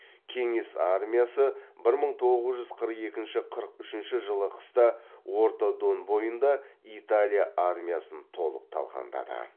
кеңес армиясы бір мың тоғыз жүз қырық екінші қырық үшінші жылы қыста орта дон бойында италия армиясын толық талқандады